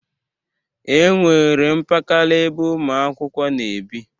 E nwere mpakala ebe ụmụakwụkwọ na-ebi.